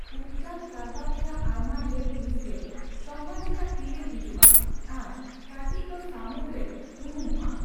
ᱩᱯᱡᱟᱹᱱ ᱠᱟᱨᱵᱟᱨ ᱨᱮᱭᱟᱜ ᱟᱭᱢᱟ ᱰᱷᱮᱨ ᱦᱤᱸᱥᱜᱮ ᱥᱚᱢᱵᱷᱟᱡᱤᱭᱟᱜ ᱛᱤᱨᱮ ᱦᱤᱡᱩᱜᱼᱟ ᱟᱨ ᱠᱟᱴᱤᱪ ᱫᱚ ᱥᱟᱹᱢᱩᱫᱽᱨᱮ ᱩᱱᱩᱢᱚᱜᱼᱟ ᱾